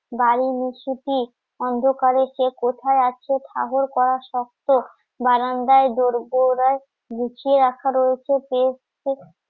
বাড়ির অন্ধকারে কে কোথায় আছে করা শক্ত বারান্দায় দোরগোড়ায় লুকিয়ে রাখা রয়েছে কে